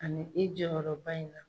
Ani i jɔyɔrɔ ba in na.